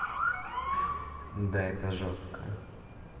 да это жёстко